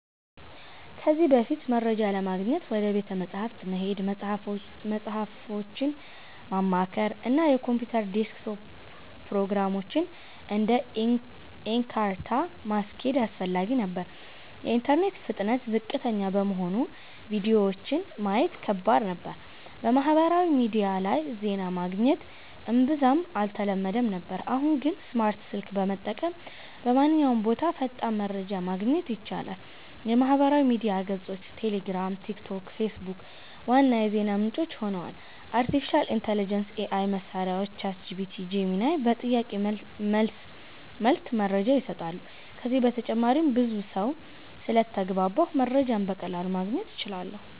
ከዚህ በፊት፦ መረጃ ለማግኘት ወደ ቤተ መጻሕፍት መሄድ፣ መጽሃፎችን ማማከር፣ እና የኮምፒውተር ዴስክቶፕ ፕሮግራሞችን (እንደ Encarta) ማስኬድ አስፈላጊ ነበር። የኢንተርኔት ፍጥነት ዝቅተኛ በመሆኑ ቪዲዮዎችን ማየት ከባድ ነበር። በማህበራዊ ሚዲያ ላይ ዜና ማግኘት እምብዛም አልተለመደም ነበር። አሁን ግን፦ ስማርት ስልክ በመጠቀም በማንኛውም ቦታ ፈጣን መረጃ ማግኘት ይቻላል። የማህበራዊ ሚዲያ ገጾች (ቴሌግራም፣ ቲክቶክ፣ ፌስቡክ) ዋና የዜና ምንጭ ሆነዋል። አርቲፊሻል ኢንተሊጀንስ (AI) መሳሪያዎች (ChatGPT, Gemini) በጥያቄ መልስ መልክ መረጃ ይሰጣሉ። ከዚህ በተጨማሪም ብዙ ሰው ስለተግባባሁ መረጃን በቀላሉ ማግኘት እችላለሁ